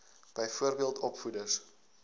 byvoorbeeld opvoeders